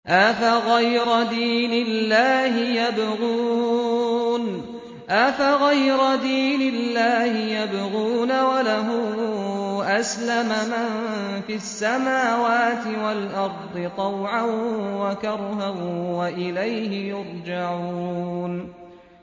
أَفَغَيْرَ دِينِ اللَّهِ يَبْغُونَ وَلَهُ أَسْلَمَ مَن فِي السَّمَاوَاتِ وَالْأَرْضِ طَوْعًا وَكَرْهًا وَإِلَيْهِ يُرْجَعُونَ